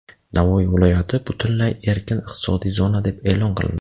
Navoiy viloyati butunlay erkin iqtisodiy zona deb e’lon qilindi.